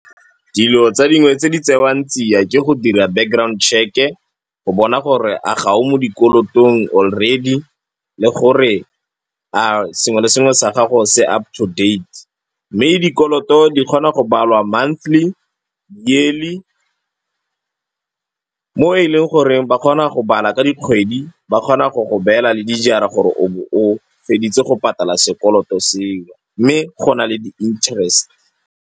Dilo tsa dingwe tse di tsewang tsia ke go dira background check-e go bona gore a ga o mo dikolotong already le gore a sengwe le sengwe sa gago se up to date. Mme dikoloto di kgona go balwa monthly, yearly. Mo e leng goreng ba kgona go bala ka dikgwedi, ba kgona go go beela le dijara gore o bo o feditse go patala sekoloto seo mme go na le di-interest.